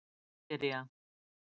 Nígería